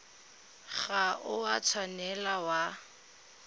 ga o a tshwanela wa